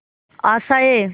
आशाएं